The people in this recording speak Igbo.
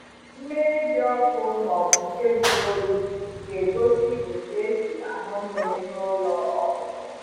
Mmiri dị ọkụ maọbụ nke juru oyi ga egosi otu esi añu mmiri na ụlọ ọkụkọ